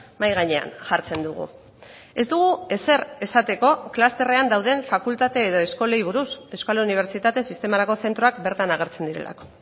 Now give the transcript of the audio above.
mahai gainean jartzen dugu ez dugu ezer esateko klusterrean dauden fakultate edo eskolei buruz euskal unibertsitate sistemarako zentroak bertan agertzen direlako